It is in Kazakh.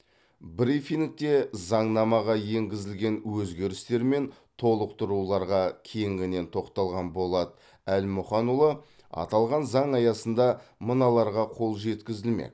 брифингте заңнамаға енгізілген өзгерістер мен толықтыруларға кеңінен тоқталған болат әлмұханұлы аталған заң аясында мыналарға қол жеткізілмек